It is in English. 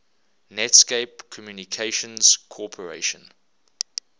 netscape communications corporation